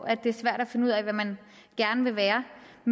at det er svært at finde ud af hvad man gerne vil være